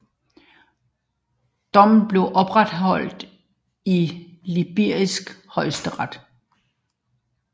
Dommen blev opretholdt i libysk højesteret